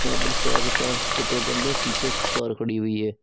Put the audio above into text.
यहां पर चार से पांच पेट्रोल पंप है पीछे एक कार खड़ी हुई है।